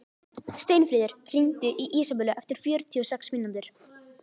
Steinfríður, hringdu í Ísabellu eftir fjörutíu og sex mínútur.